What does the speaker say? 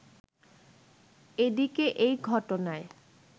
এদিকে এই ঘটনায়